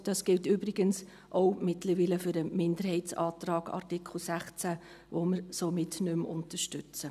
Das gilt übrigens mittlerweile auch für den Minderheitsantrag zu Artikel 16, den wir somit nicht mehr unterstützen.